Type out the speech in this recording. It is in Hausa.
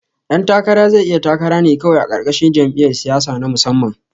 Ɗan takara zai iya takara ne kawai a ƙarƙashin jam'iyar siyasa na musamman